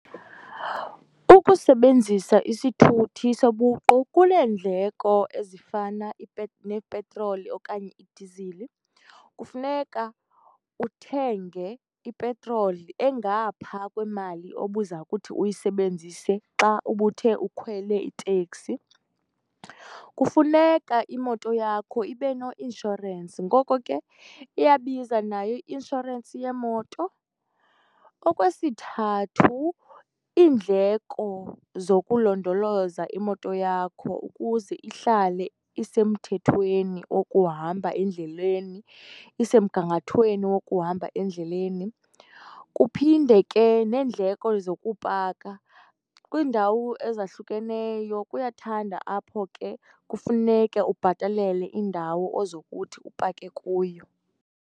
Ukusebenzisa isithuthi sobuqu kuneendleko ezifana neepetroli okanye idizili. Kufuneka uthenge ipetroli engaphaa kwemali obuza kuthi uyisebenzise xa ubuthe ukhwele iteksi. Kufuneka imoto yakho ibe no-inshorensi, ngoko ke iyabiza nayo i-inshorensi yeemoto. Okwesithathu, iindleko zokulondoloza imoto yakho ukuze ihlale isemthethweni okuhamba endleleni, isemgangathweni wokuhamba endleleni. Kuphinde ke neendleko zokupaka. Kwiindawo ezahlukeneyo kuyathanda apho ke kufuneke ubhatalele indawo ozokuthi upake kuyo.